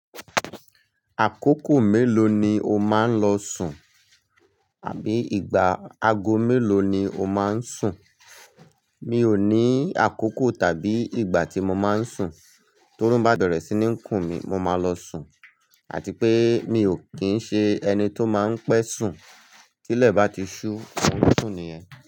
Àkókò mélòó ni o máa ń lọ sùn? Àbí ìgbà aago mélòó ni o máa ń sùn? Mi ò ní àkókò tàbí ìgbà tí mo máa ń sùn, torun bá ti bẹ̀rẹ̀ sí ní kùn mí, mo máa lọ sùn àti pé mi ò kín ń ṣe ẹni tó máa ń pẹ́ sùn. Tí ilẹ̀ bá ti ṣú, mo n sùn nìyẹn.